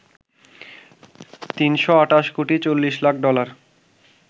৩২৮ কোটি ৪০ লাখ ডলার